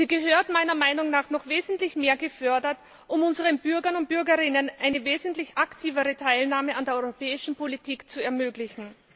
Sie gehört meiner Meinung nach noch wesentlich mehr gefördert, um unseren Bürgerinnen und Bürgern eine wesentlich aktivere Teilnahme an der europäischen Politik zu ermöglichen.